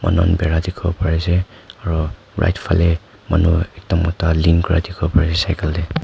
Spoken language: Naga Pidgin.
manu khan bera dekhi bole bari ase aro right bhale manu ekta moto lean kura dekhi ase cycle te.